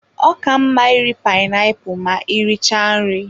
Ọ ka mma iri painiapulu ma e richara nri.